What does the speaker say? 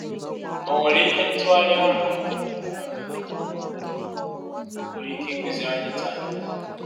Ọ nwere ihe ntụgharị ahụ um nwere ike ịkụziri anyị taa?